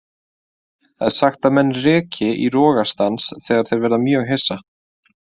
Það er sagt að menn reki í rogastans þegar þeir verða mjög hissa.